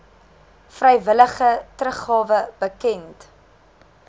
vrywillige teruggawe bekend